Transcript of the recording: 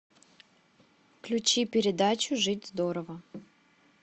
включи передачу жить здорово